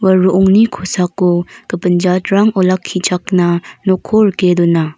ua ro·ongni kosako gipin jatrang olakkichakna nokko rike dona.